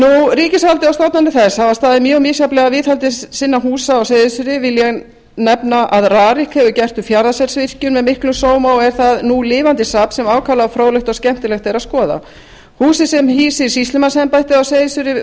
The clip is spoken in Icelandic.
ríkisvaldið og stofnanir þess hafa staðið mjög misjafnlega að viðhaldi sinna húsa á seyðisfirði vil ég nefna að rarik hefur gert fjarðarselsvirkjun með miklum sóma og er þar nú lifandi safn sem ákaflega fróðlegt og skemmtilegt er að skoða húsið sem hýsir sýslumannsembættið á seyðisfirði